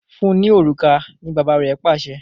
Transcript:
Fún ní òrùka! ní bàbá rẹ Pàṣẹ.